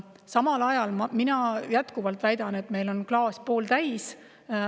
Samal ajal ma jätkuvalt väidan, et klaas on pooltäis.